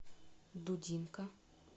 дудинка